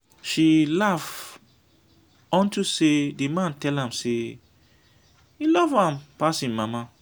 she laugh unto say the man tell am say he love am pass im mama